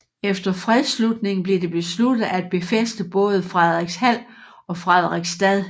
Efter fredsslutningen blev det besluttet at befæste både Fredrikshald og Fredrikstad